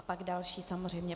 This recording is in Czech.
A pak další, samozřejmě.